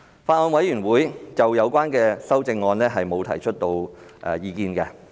法案委員會就有關修正案沒有提出意見。